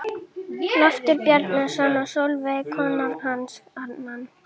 Loftur Bjarnason og Sólveig kona hans annan.